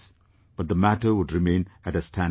But the matter would remain at a standstill